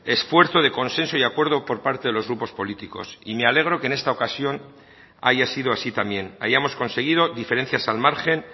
esfuerzo de consenso y acuerdo por parte de los grupos políticos y me alegro que en esta ocasión haya sido así también hayamos conseguido diferencias al margen